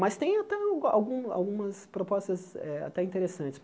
Mas tem até algu algu algumas propostas eh até interessantes.